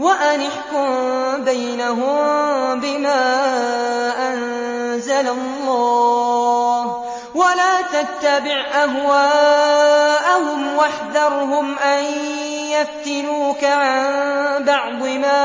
وَأَنِ احْكُم بَيْنَهُم بِمَا أَنزَلَ اللَّهُ وَلَا تَتَّبِعْ أَهْوَاءَهُمْ وَاحْذَرْهُمْ أَن يَفْتِنُوكَ عَن بَعْضِ مَا